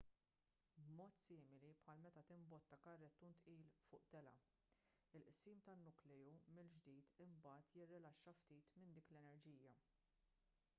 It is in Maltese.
b'mod simili bħal meta timbotta karrettun tqil fuq telgħa il-qsim tan-nukleu mill-ġdid imbagħad jirrilaxxa ftit minn dik l-enerġija